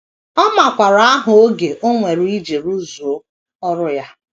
Ọ makwaara aha oge o nwere iji rụzuo ọrụ ya.